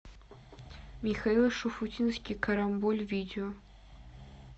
михаил шуфутинский карамболь видео